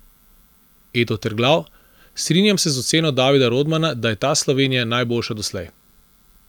Edo Terglav: "Strinjam se z oceno Davida Rodmana, da je ta Slovenija najboljša doslej.